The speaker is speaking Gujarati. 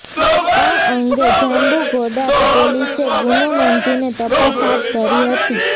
આ અંગે જાંબુઘોડા પોલીસે ગુનો નોંધીને તપાસ હાથ ધરી હતી